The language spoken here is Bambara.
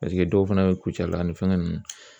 dɔw fana bɛ Kucala ni fɛnkɛ ninnu